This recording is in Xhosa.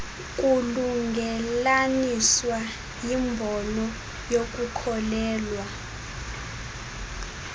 kulungelelaniswa yimbono yokukholelwa